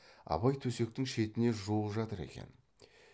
абай төсектің шетіне жуық жатыр екен